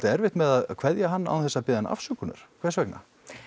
erfitt með að kveðja hann án þess að biðjast afsökunar hvers vegna